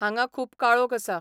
हांगा खूब काळोख आसा